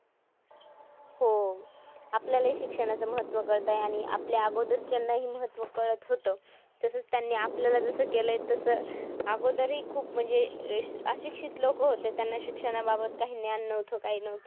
हो, आपल्याला हि शिक्षणाचं महत्त्व कळतंय आणि आपल्या अगोदरच्यांनाही महत्त्व कळत होतं. तसचं त्यांनी आपल्याला जसं केलंय तसं अगोदरही खूप म्हणजे अह अशिक्षित लोक होते. त्यांना शिक्षणाबाबत काही ज्ञान नव्हतं काही नव्हतं.